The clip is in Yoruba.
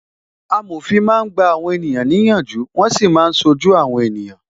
Amòfin máa ń gba àwọn ènìyàn ní ìyànjú, wọn sì máa ń ṣojú àwọn ènìyàn